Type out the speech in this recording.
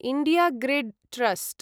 India Grid trust